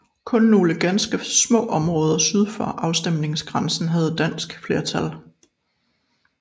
Kun nogle ganske små områder syd for afstemningsgrænsen havde dansk flertal